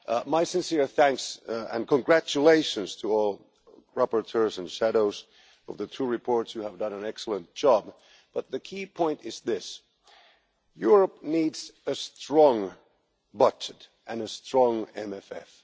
My sincere thanks and congratulations to all the rapporteurs and shadows for the two reports you have done an excellent job but the key point is this Europe needs a strong budget and a strong MFF.